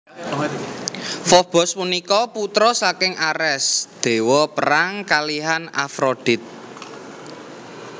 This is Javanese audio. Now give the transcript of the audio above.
Fobos punika putra saking Ares dewa perang kalihan Afrodit